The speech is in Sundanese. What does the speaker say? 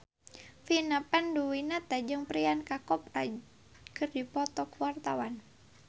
Vina Panduwinata jeung Priyanka Chopra keur dipoto ku wartawan